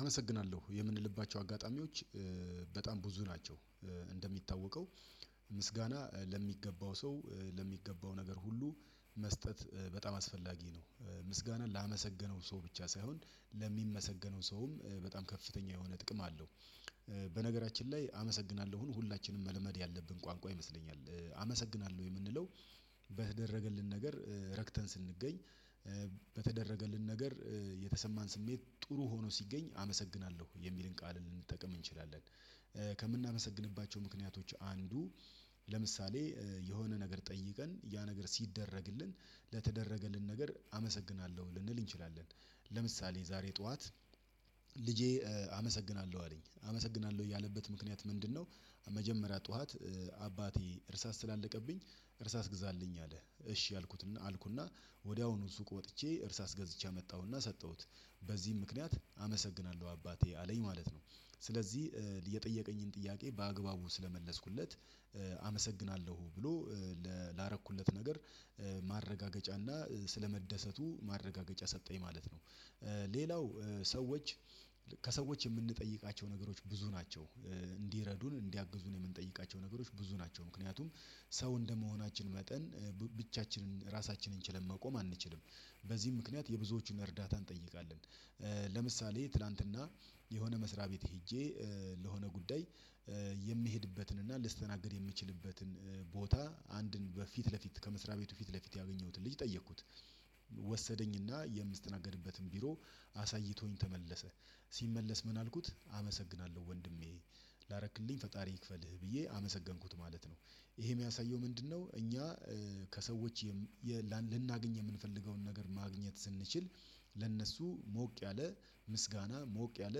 አመሰግናለሁ የምንልባቸው አጋጣሚዎች በጣም ብዙ ናቸው። እንደሚታወቀው ምስጋና ለሚገባው ሰው ለሚገባው ነገር ሁሉ መስጠት በጣም አስፈላጊ ነው። ምስጋናን ላመሰገነው ሰው ብቻ ሳይሆን ለሚመሰገነው ሰውም በጣም ከፍተኛ የሆነ ጥቅም አለው። በነገራችን ላይ አመሰግናለሁን ሁላችንም መልመድ ያለብን ቋንቋ ይመስለኛል። አመሰግናለሁ የምንለው በተደረገልን ነገር ረክተን ስንገኝ በተደረገልን ነገር የተሰማን ስሜት ጥሩ ሆኖ ሲገኝ አመሰግናለሁ የሚልን ቃል ልንጠቅም እንችላለን። ከምናመሰግንባቸው ምክንያቶች አንዱ ለምሳሌ የሆነ ነገር ጠይቀን ያ ነገር ሲደረግልን ለተደረገልን ነገር አመሰግናለሁ ልንል እንችላለን። ለምሳሌ ዛሬ ጠዋት ልጄ አመሰግናለሁ አለኝ አመሰግናለሁ ያለበት ምክንያት ምንድነው? መጀመሪያ ጠዋት አባቴ እርሳስ ስላለቀብኝ እርሳስ ግዛልኝ አለ እሺ አልኩት አልኩና ወዲያውኑ ሱቅ ወጥቼ እርሳስ ገዝቼ አመጣሁና ሰጠሁት። በዚህም ምክንያት አመሰግናለሁ አባቴ አለኝ ማለት ነው። ስለዚህ የጠየቀኝን ጥያቄ በአግባቡ ስለመለስኩለት አመሰግናለሁ ብሎ ላረኩለት ነገር ማረጋገጫና ስለመደሰቱ ማረጋገጫ ሰጠኝ ማለት ነው። ሌላው ሰዎች ከሰዎች የምንጠይቃቸው ነገሮች ብዙ ናቸው። እንዲረዱን እንዲያግዙን የምንጠይቃቸው ነገሮች ብዙ ናቸው ምክንያቱም ሰው እንደመሆናችን መጠን ብቻችንን ራሳችንን ችለን መቆም አንችልም። በዚህ ምክንያት የብዙዎቹን እርዳታ እንጠይቃለን። ለምሳሌ ትላንትና የሆነ መስሪያ ቤት ሄጄ ለሆነ ጉዳይ የምሄድበትን እና ልስተናገድ የምችልበትን ቦታ አንድን በፊት ለፊት ከመስሪያ ቤቱ ፊት ለፊት ያገኘሁትን ልጅ ጠየኩት። ወሰደኝና የምስተናገድበትን ቢሮ አሳይቶኝ ተመለሰ ሲመለስ ምን አልኩት አመሰግናለሁ ወንድሜ ላረክልኝ ፈጣሪ ይክፈልህ ብዬ አመሰገንኩት ማለት ነው። ይሄ የሚያሳየው ምንድነው? እኛ ከሰዎች ልናገኝ የምንፈልገውን ነገር ማግኘት ስንችል ለነሱ ሞቅ ያለ ምስጋና ሞቅ ያለ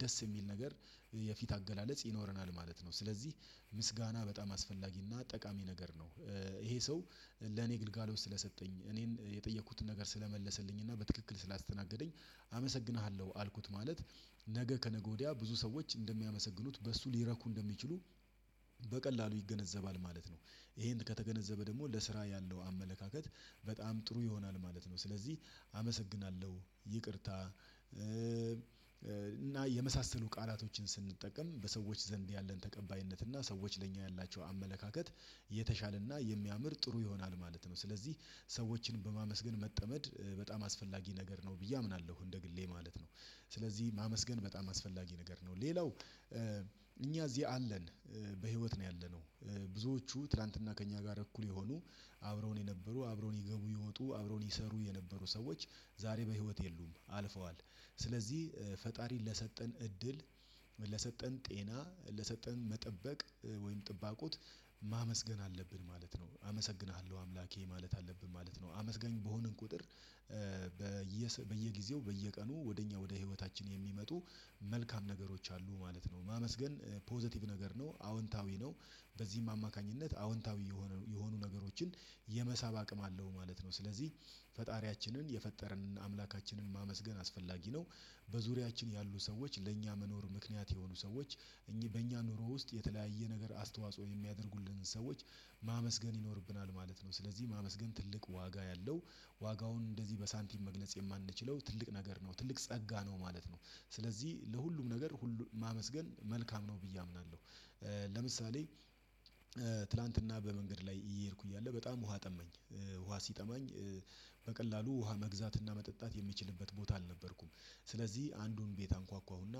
ደስ የሚል ነገር የፊት አገላለጽ ይኖረናል ማለት ነው ስለዚህ ምስጋና በጣም አስፈላጊና ጠቃሚ ነገር ነው። ይሄ ሰው ለኔ ግልጋሎት ስለሰጠኝ እኔን የጠየኩትን ነገር ስለመለሰልኝ እና በትክክል ስላስተናገደኝ አመሰግንሃለሁ አልኩት ማለት ነገ ከነገ ወዲያ ብዙ ሰዎች እንደሚያመሰግኑት በሱ ሊረኩ እንደሚችሉ በቀላሉ ይገነዘባል ማለት ነው። ይሄን ከተገነዘበ ደግሞ ለስራ ያለው አመለካከት በጣም ጥሩ ይሆናል ማለት ነው። ስለዚህ አመሰግናለሁ ይቅርታ እና የመሳሰሉ ቃላቶችን ስንጠቀም በሰዎች ዘንድ ያለን ተቀባይነት እና ሰዎች ለኛ ያላቸው አመለካከት የተሻለና የሚያምር ጥሩ ይሆናል ማለት ነው። ስለዚህ ሰዎችን በማመስገን መጠመድ በጣም አስፈላጊ ነገር ነው ብዬ አምናለሁ እንደ ግሌ ማለት ነው። ስለዚህ ማመስገን በጣም አስፈላጊ ነገር ነው ሌላው እኛ እዚህ አለን በህይወት ነው ያለነው ብዙዎቹ ትላንትና ከእኛ ጋር እኩል የሆኑ አብረው ነው የነበሩ አብረው ነው ይገቡ ይወጡ አብረውኝ ይሰሩ የነበሩ ሰዎች ዛሬ በህይወት የሉም አልፈዋል። ስለዚህ ፈጣሪን ለሰጠን እድል ለሰጠን ጤና ለሰጠን መጠበቅ ወይም ጥባቆት ማመስገን አለብን ማለት ነው አመሰግንሃለሁ አምላኬ ማለት አለብን ማለት ነው። አመስገን በሆንን ቁጥር በየጊዜው በየቀኑ ወደ እኛ ወደ ህይወታችን የሚመጡ መልካም ነገሮች አሉ ማለት ነው። ማመስገን ፖዘቲቭ ነገር ነው አዎንታዊ ነው በዚህም አማካኝነት አዎንታዊ የሆኑ ነገሮችን የመሳብ አቅም አለው ማለት ነው። ስለዚህ ፈጣሪያችንን የፈጠርንን አምላካችንን ማመስገን አስፈላጊ ነው። በዙሪያችን ያሉ ሰዎች ለእኛ መኖር ምክንያት የሆኑ ሰዎች በእኛ ኑሮ ውስጥ የተለያየ ነገር አስተዋጽኦ የሚያደርጉልንን ሰዎች ማመስገን ይኖርብናል ማለት ነው። ስለዚህ ማመስገን ትልቅ ዋጋ ያለው ዋጋውን እንደዚህ በሳንቲም መግነጽ የማንችለው ትልቅ ነገር ነው ትልቅ ጸጋ ነው ማለት ነው። ስለዚህ ለሁሉም ነገር ሁሉ ማመስገን መልካም ነው ብዬ አምናለሁ። ለምሳሌ ትላንትና በመንገድ ላይ እየሄድኩ እያለ በጣም ውሃ ጠመኝ ውሃ በቀላሉ ውሃ መግዛትና መጠጣት የሚችልበት ቦታ አልነበርኩም። ስለዚህ አንዱን ቤት አንኳኳሁና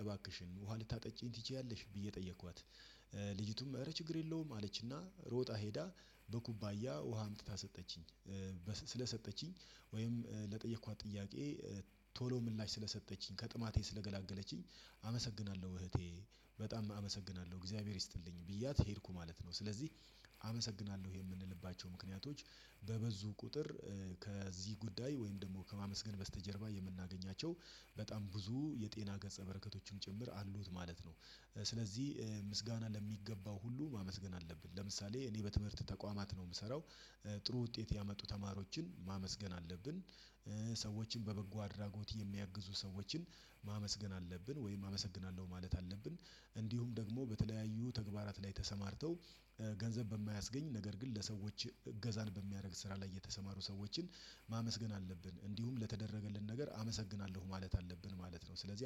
እባክሽን ውሃ ልታጠጪኝ ትችያለሽ ብዬ ጠየኳት? ልጅቱም እረ ችግር የለውም አለችና ሮጣ ሄዳ በኩባያ ውሃ አምጥታ ሰጠችኝ ስለሰጠችኝ ወይም ለጠየኳት ጥያቄ ቶሎ ምላሽ ስለሰጠችኝ ከጥማቴ ስለገላገለችኝ አመሰግናለሁ እህቴ በጣም አመሰግናለሁ እግዚአብሔር ይስጥልኝ ብያት ሄድኩ ማለት ነው። ስለዚህ አመሰግናለሁ የምንልባቸው ምክንያቶች በበዙ ቁጥር ከዚህ ጉዳይ ወይም ደግሞ ከማመስገን በስተጀርባ የምናገኛቸው በጣም ብዙ የጤና ገጸ በረከቶችን ጭምር አሉት ማለት ነው። ስለዚህ ምስጋና ለሚገባው ሁሉ ማመስገን አለብን ለምሳሌ እኔ በትምህርት ተቋማት ነው የምሰራው ጥሩ ውጤት ያመጡ ተማሪዎችን ማመስገን አለብን። ሰዎችን በበጎ አድራጎት የሚያግዙ ሰዎችን ማመስገን አለብን ወይም አመሰግናለሁ ማለት አለብን። እንዲሁም ደግሞ በተለያዩ ተግባራት ላይ ተሰማርተው ገንዘብ በማያስገኝ ነገር ግን ለሰዎች እገዛን በሚያደርግ ስራ ላይ የተሰማሩ ሰዎችን ማመስገን አለብን። እንዲሁም ለተደረገልን ነገር አመሰግናለሁ ማለት አለብን ማለት ነው። ስለዚህ